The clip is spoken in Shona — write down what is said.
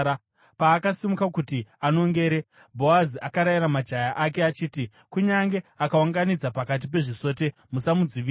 Paakasimuka kuti anongere, Bhoazi akarayira majaya ake achiti, “Kunyange akaunganidza pakati pezvisote, musamudzivisa.